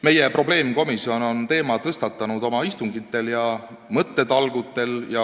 Meie probleemkomisjon on teema tõstatanud oma istungitel ja mõttetalgutel.